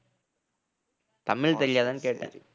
தமிழ் தெரியாதான்னு கேட்டேன்